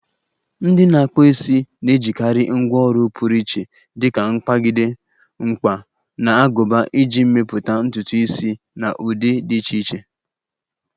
Ndị na-akpụ isi na-ejikarị ngwá ọrụ pụrụ iche dika mkpagide, mkpa, na aguba iji mepụta ntutu isi na ụdị dị iche iche.